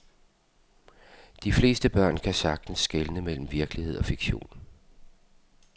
De fleste børn kan sagtens skelne mellem virkelighed og fiktion.